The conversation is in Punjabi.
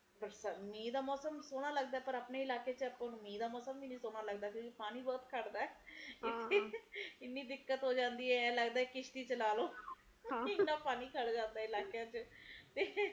ਮੀਹ ਦਾ ਮੌਸਮ ਸੋਹਣਾ ਲੱਗਦਾ ਪਰ ਆਪਣੇ ਇਕੱਲੇ ਚ ਆਪਾ ਨੂੰ ਮੀਹ ਦਾ ਮੌਸਮ ਵੀ ਨੀ ਸੋਹਣਾ ਲੱਗਦਾ ਪਾਣੀ ਬਹੁਤ ਘਟਦਾ ਇੰਨੇ ਦਿੱਕਤ ਹੋ ਜਾਂਦੀ ਐ ਕੀ ਜੀਅ ਕਰਦਾ ਕੀ ਅਸੀ ਚਲਾਲੋ